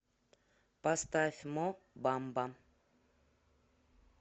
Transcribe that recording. поставь мо бамба